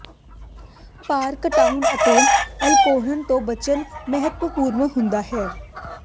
ਭਾਰ ਘਟਾਉਣ ਅਤੇ ਅਲਕੋਹਲ ਤੋਂ ਬਚਣਾ ਮਹੱਤਵਪੂਰਨ ਹੁੰਦਾ ਹੈ